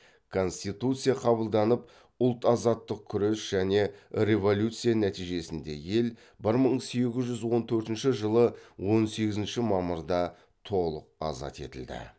конституция қабылданып ұлт азаттық күрес және революция нәтижесінде ел бір мың сегіз жүз он төртінші жылы он сегізінші мамырда толық азат етілді